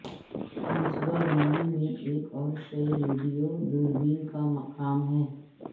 منصوبہ بندی میں ایک اور شے ریڈیو دوربین کا مقام ہے